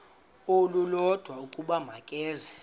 olulodwa ukuba makeze